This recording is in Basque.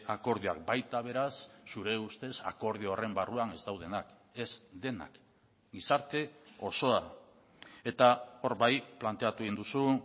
akordioak baita beraz zure ustez akordio horren barruan ez daudenak ez denak gizarte osoa eta hor bai planteatu egin duzu